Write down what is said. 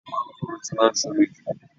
Manugoro ti máa ń somi jù.